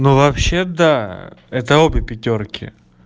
ну вообще да это обе пятёрки